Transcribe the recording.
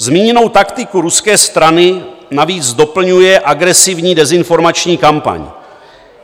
Zmíněnou taktiku ruské strany navíc doplňuje agresivní dezinformační kampaň.